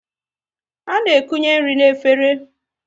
A na ekunye nri n'efere